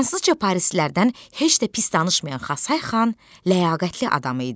Fransızca parislilərdən heç də pis danışmayan Xasay xan ləyaqətli adam idi.